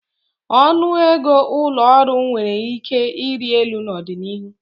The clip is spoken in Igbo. Ọnụ ego ụlọ ọrụ nwere ike ịrị elu n'ọdịnihu.